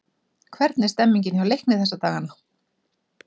Hvernig er stemmningin hjá Leikni þessa dagana?